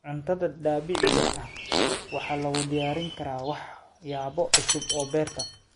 Cuntada dabiiciga ah waxaa lagu diyaarin karaa waxyaabo cusub oo beerta.